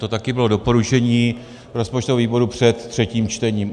To taky bylo doporučení rozpočtového výboru před třetím čtením.